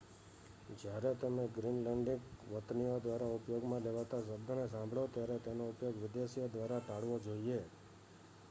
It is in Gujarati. જ્યારે તમે ગ્રીનલેન્ડીક વતનીઓ દ્વારા ઉપયોગમાં લેવાતા શબ્દને સાંભળો ત્યારે તેનો ઉપયોગ વિદેશીઓ દ્વારા ટાળવો જોઈએ